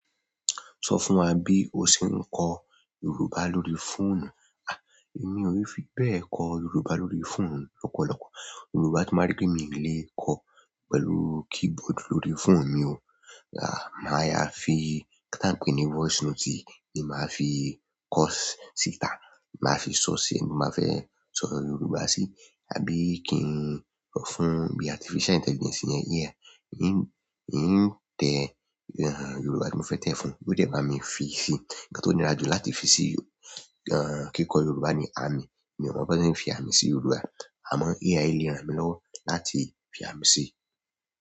So fún wa bi o se n ko Yoruba lórí fóònù. Èmi ò i fi bẹ kọ Yorùbá lórí fóònù lọ́pọ̀lọpọ̀. Yorùbá tí n bá rí pé mi lè kọ pẹ̀lú keyboard lórí fóònù mi o. Màá yá fi nǹkan ta n pè ní voice note ni màá fi kọ sítá, màá fi sọ si ti n bà fẹ́ sọ Yorùbá sí, àbí kí n sọ fún bí artificial intelligence iyẹn AI. N tẹ Yorùbá tí mo fẹ́ tẹ fún, yoó dẹ̀ bá mi fi sí i. Ǹnkan tó nira jù láti fi sí kí kọ Yorùbá ni àmì. Èmi ò mọ bí won ṣe n fi àmì sí Yorùbá, àmọ́ AI lè ràn mí lọ́wọ́ láti fi àmì sí i.